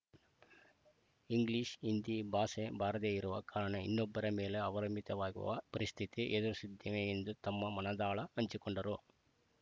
English Hindi ಭಾಷೆ ಬಾರದೇ ಇರುವ ಕಾರಣ ಇನ್ನೊಬ್ಬರ ಮೇಲೆ ಅವಲಂಬಿತವಾಗುವ ಪರಿಸ್ಥಿತಿ ಎದುರಿಸಿದ್ದೇನೆ ಎಂದು ತಮ್ಮ ಮನದಾಳ ಹಂಚಿಕೊಂಡರು